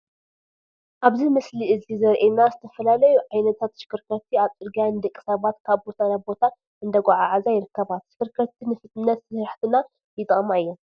ኣብዚ ምስሊ እዚ ዘሪኤና ዝተፈላለዩ ዓይነታት ተሽከርከርቲ ኣብ ፅርግያ ንደቂ ሰባት ካብ ቦታ ናብ ቦታ እንዳጓዓዓዛ ይርከባ፡፡ ተሽከርከርቲ ንፍጥነት ስራሕትና ይጠቕማ እየን፡፡